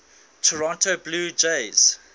toronto blue jays